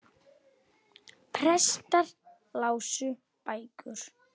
Prestar lásu bækur.